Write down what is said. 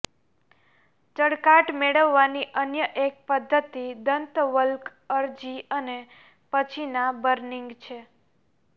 ચળકાટ મેળવવાની અન્ય એક પદ્ધતિ દંતવલ્ક અરજી અને પછીના બર્નિંગ છે